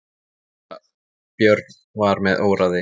Síra Björn var með óráði.